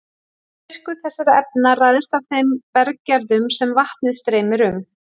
Styrkur þessara efna ræðst af þeim berggerðum sem vatnið streymir um.